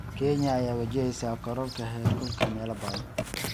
Kenya ayaa wajaheysa kororka heerkulka meelo badan.